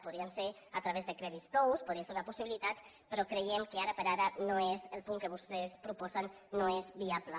podrien ser a través de crèdits tous podria ser una possibilitat però creiem que ara per ara el punt que vostès proposen no és viable